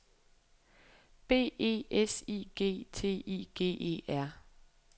B E S I G T I G E R